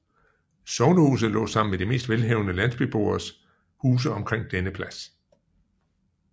Sognehuset lå sammen med de mest velhavende landsbyboeres huse omkring denne plads